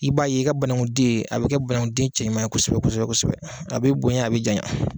I b'a ye i ka banagunden a bɛ kɛ banagunden cɛ ɲuman ye kosɛbɛ kosɛbɛ kosɛbɛ a bɛ bonya a bɛ janya.